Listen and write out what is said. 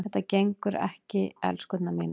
Þetta gengur ekki, elskurnar mínar.